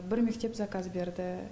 бір мектеп заказ берді